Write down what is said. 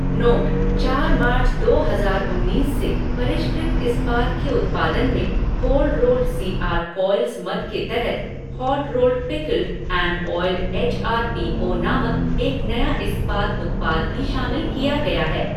Note चार March, दो हजार उन्नीस से, परिष्कृत इस्पात के उत्पादन में cold rolled C R coils मद के तहत hot rolled pickled and oiled H R P O नामक एक नया इस्पात उत्पाद भी शामिल किया गया है।